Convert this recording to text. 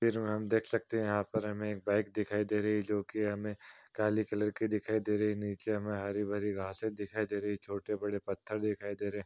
तस्वीर में हम देख सकते हैं यहाँ पर हमें एक बाइक दिखाई दे रहीं हैं जो की हमें काली कलर की दिखाई दे रही हैनीचे हमें हरी भरी घासें दिखाई दे रही छोटे बड़े पत्थर दिखाई दे रहें।